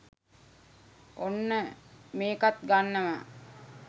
ඔන්න මෙකත් ගන්නවා